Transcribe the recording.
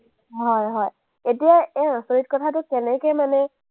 হয়, হয়, এতিয়া এই আচৰিত কথাটো কেনেকে মানে